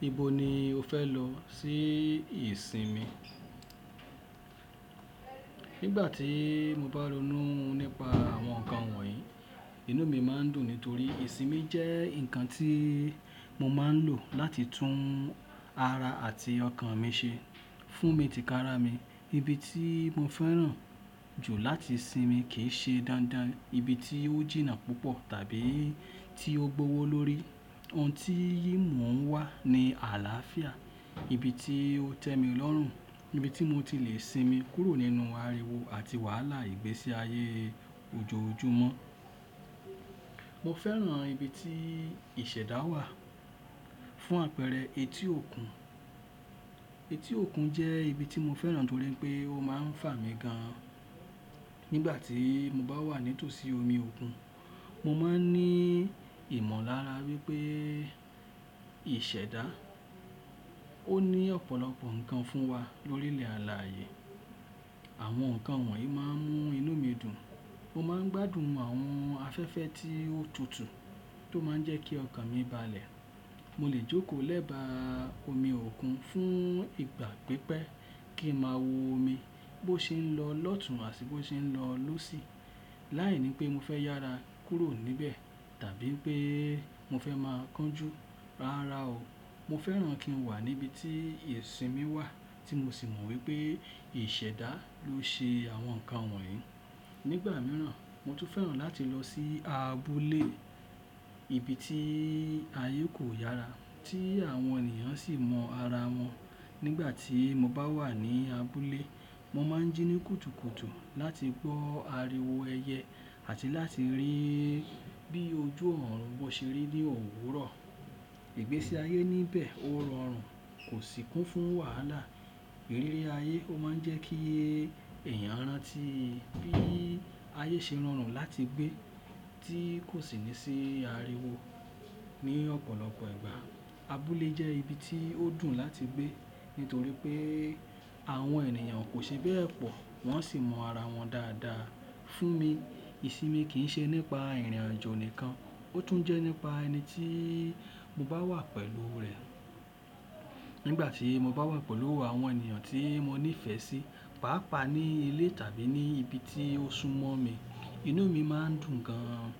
Ibo ni o fẹ lọ sí ìsinmi? Nígbà tí mo bá ronú nípa àwọn nǹkan wọ̀nyí, inú mi máa ń dùn nítorí ìsinmi jẹ́ ǹkan tí mo máa ń lò láti tún ara àti ọkàn mi ṣe. Fún mi tìkára mi, ibi tí mo fẹ́ràn jù láti sinmi kì í ṣe dáadáa ibi tí ó jìnnà púpọ̀ tàbí tí ó gbọ́wọ́lórí. Ohun tí yìí mò ń wá ni àlàáfíà, ibi tí ó tẹ́mi lọ́rùn, ibi tí mo ti lè sinmi kúrò nínú ariwo àti wàhálà ìgbésí ayé ojoojúmọ́. Mo fẹ́ràn ibi tí ìṣẹ̀dá wà fún àpẹẹrẹ etí òkun. Etí òkun jẹ́ ibi tí mo fẹ́ràn nítorí pé ó máa ń fà mí gan-an. Nígbà tí mo bá wà nítù sí omi òkun, mo máa ń ní ìmọ̀lára wí pé ìṣèdá, ó ní ọ̀pọ̀lọpọ̀ nǹkan fún wa lórí ilẹ̀ alà yé. Àwọn nǹkan wọ̀nyí máa ń mú inú mi dùn. Mo máa ń gbádùn àwọn afẹ́fẹ́ tí ó tutù tó máa ń jẹ́ kí ọkàn mi bàlẹ̀. Mo lè jókòó lẹ́bà omi òkun fún ìgbà pípẹ́ kí n máa wo omi bó ṣe ń lọ lọ́tùn àti bó ṣe ń lọ lósì láìní pé mo fẹ́ yára kúrò níbẹ̀ tàbí pé mo fẹ́ máa kánjú. Rárá o, mo fẹ́ràn kí n wà níbi tí ìsinmi wà tí mo sì mọ̀ wí pé ìṣèdá ló ṣe àwọn nǹkan wọ̀nyí. Nígbà mìíràn, mo tún fẹ́ràn láti lọ sí abúlé, ibi tí ayé kò yára, tí àwọn ènìyàn sì mọ ara wọn. Nígbà tí mo bá wà ní abúlé, mo máa ń jíní kùtùkùtù láti gbọ́ ariwo ẹyẹ àti láti rí bí ojú ọ̀rọ̀ wọn ṣe rí ní òwúrọ̀. Ìgbesí ayé níbẹ̀ ó rọrùn, kò sí kún fún wàhálà. Ìrírí ayé ó máa ń jẹ́ kí èèyàn rán tí bí ayé ṣe rọrùn láti gbé tí kò sí ní sí ariwo. Ní ọ̀pọ̀lọpọ̀ ìgbà, abúlé jẹ́ ibi tí ó dùn láti gbé nítorí pé àwọn ènìyàn kò ṣe bẹ́ẹ̀ pọ̀, wọ́n sì mọ ara wọn dáadáa. Fún mi, ìsinmi kì í ṣe nípa ìrìn-àjò nìkan, ó tún jẹ́ nípa ẹni tí mo bá wà pẹ̀lú rẹ̀. Nígbà tí mo bá wà pẹ̀lú àwọn ènìyàn tí mo nífẹ̀ẹ́ sí, pàápàá ní ilé tàbí ní ibi tí ó súnmọ́ mi, inú mi máa ń dùn gan-an.